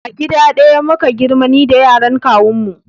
A gida ɗaya muka girma ni da yaran kawun mu